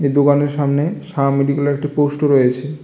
দুকানের সামনে সাহা মেডিক্যালের একটি পোস্ট ও রয়েছে।